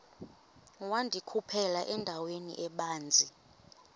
wandikhuphela endaweni ebanzi